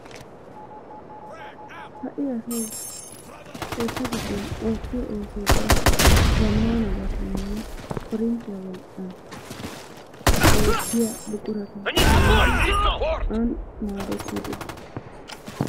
ha'i asay keetta giddon oottiyo ooso ubbaa zamaanabatuuninne korinttiya wolqqan oottiya buqurata shammidi an maadetiidi ..